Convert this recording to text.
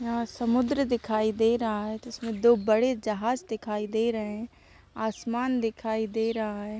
यहाँ समुद्र दिखाई दे रहा हैं जिसमे दो बड़े जहाज दिखाई दे रहे है आसमान दिखाई दे रहा है।